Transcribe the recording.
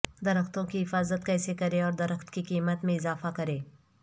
درختوں کی حفاظت کیسے کریں اور درخت کی قیمت میں اضافہ کریں